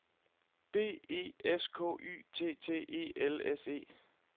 B E S K Y T T E L S E